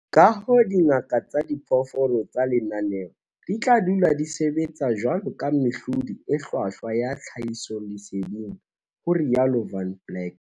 "Kahoo, dingaka tsa diphoofolo tsa lenaneo di tla dula di sebetsa jwaloka mehlodi e hlwahlwa ya tlhahisoleseding," ho rialo Van Blerk.